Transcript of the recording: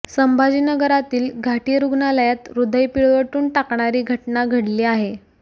संभाजीनगरातील घाटी रुग्णालयात ह्रदय पिळवटून टाकणारी घटना घडली आहे